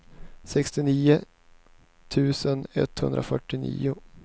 sextionio tusen etthundrafyrtionio